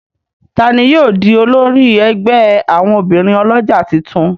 Ta ní yóò dì olórí ègbé àwọn obìrin olójà títún?